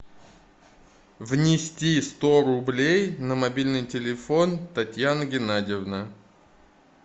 внести сто рублей на мобильный телефон татьяна генадьевна